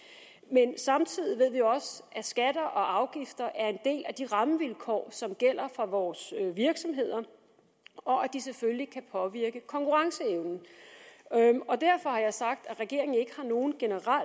ved samtidig også at skatter og afgifter er en del af de rammevilkår som gælder for vores virksomheder og at de selvfølgelig kan påvirke konkurrenceevnen derfor har jeg sagt at regeringen ikke har nogen